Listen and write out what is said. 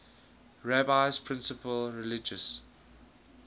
rabbi's principal religious